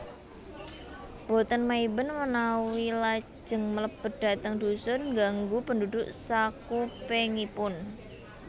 Boten maiben manawi lajeng mlebet dhateng dhusun ngganggu pendhudhuk sakupengipun